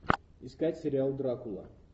искать сериал дракула